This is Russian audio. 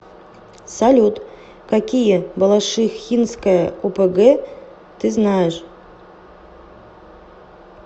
салют какие балашихинская опг ты знаешь